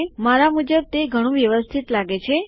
મારા મુજબ તે ઘણું વ્યવસ્થિત લાગે છે